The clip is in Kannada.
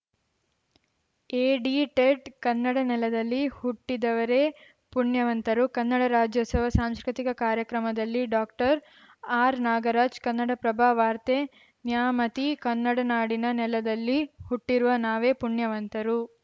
ಎಡಿಟೆಡ್‌ ಕನ್ನಡ ನೆಲದಲ್ಲಿ ಹುಟ್ಟಿದವರೇ ಪುಣ್ಯವಂತರು ಕನ್ನಡ ರಾಜ್ಯೋತ್ಸವ ಸಾಂಸ್ಕೃತಿಕ ಕಾರ್ಯಕ್ರಮದಲ್ಲಿ ಡಾಕ್ಟರ್ ಆರ್‌ನಾಗರಾಜ್‌ ಕನ್ನಡಪ್ರಭ ವಾರ್ತೆ ನ್ಯಾಮತಿ ಕನ್ನಡ ನಾಡಿನ ನೆಲದಲ್ಲಿ ಹುಟ್ಟಿರುವ ನಾವೇ ಪುಣ್ಯವಂತರು